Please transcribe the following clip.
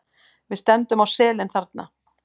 Við stefndum á selin þarna.